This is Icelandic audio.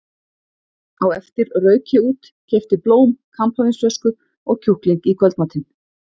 Á eftir rauk ég út, keypti blóm, kampavínsflösku og kjúkling í kvöldmatinn.